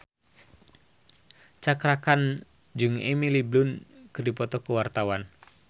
Cakra Khan jeung Emily Blunt keur dipoto ku wartawan